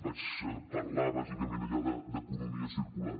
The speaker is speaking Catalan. vaig parlar bàsicament allà d’economia circular